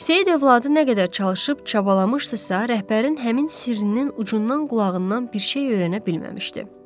Seyid övladı nə qədər çalışıb çabalamışdısızsa, rəhbərin həmin sirrinin ucundan qulağından bir şey öyrənə bilməmişdi.